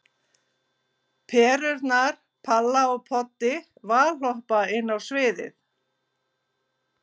Perurnar Palla og Poddi valhoppa inn á sviðið.